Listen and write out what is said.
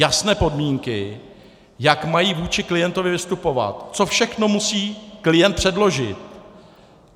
Jasné podmínky, jak mají vůči klientovi vystupovat, co všechno musí klient předložit.